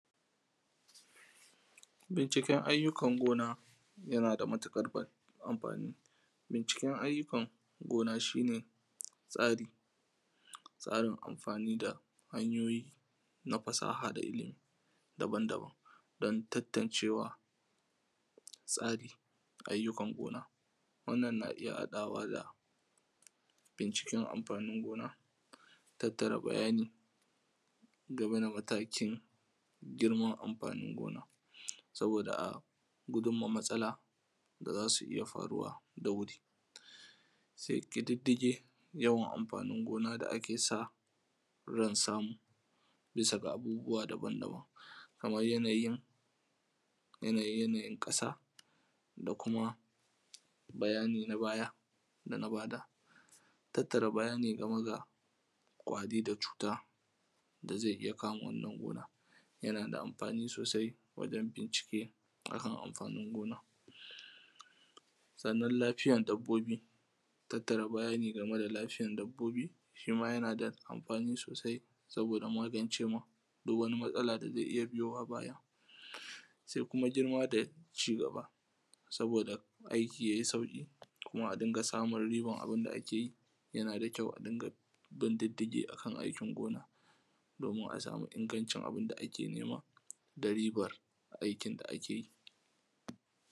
bincikan ayyukan gona yana da matuƙar amfani bincikan ayyukan gona shi ne tsari tsarin amfani da hanyoyi na fasaha da ilmi daban-daban don tantancewa tsarin ayyukan gona wannan na iya haɗawa da binciken amfani gona tattara bayani game da matakin girman amfanin gona saboda gudun ma matsala da zasu iya faruwa da wuri zai ƙididdige yawan amfanin gona da ake sa ran samu bisa ga abubuwa daban-daban kaman yanayi yanayin ƙasa da kuma bayani na baya dana bada tattara bayani game ga ƙwari da cuta da zai iya kama wannan gona yana da amfani sosai wajen bincike akan amfanin gona sannan lafiyan dabbobi tattara bayani game da lafiyan dabbobi shima yana da amfani sosai saboda magance ma duk wani matsala da zai iya biyowa baya sai kuma girma da cigaba saboda aiki yayi sauƙi kuma a riƙa samun ribar abun da akeyi yana da kyau a rinƙa bin diddigi akan aikin gona domin a samu ingancin abun da ake nema da ribar aikin da akeyi